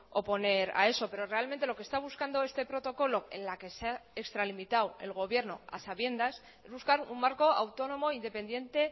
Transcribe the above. oponer a eso pero realmente lo que está buscando este protocolo en la que se ha extralimitado el gobierno a sabiendas es buscar un marco autónomo independiente